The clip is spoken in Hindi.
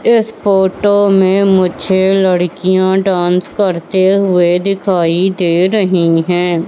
इस फोटो में मुझे लड़कियां डांस करते हुए दिखाई दे रही हैं।